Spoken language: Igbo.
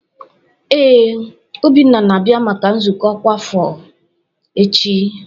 Ee, Obinna na-abia maka nzukọ ọkwa afọ echi.